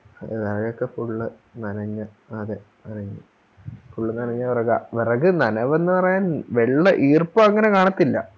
ആ അതൊക്കെ Full നനഞ്ഞ് ആ അതെ Full നനഞ്ഞ വെറക വെറക് നനവെന്ന് പറയാൻ വെള്ള ഈർപ്പങ്ങനെ കാണത്തില്ല